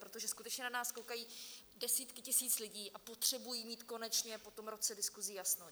Protože skutečně na nás koukají desítky tisíc lidí a potřebují mít konečně po tom roce diskusí jasno.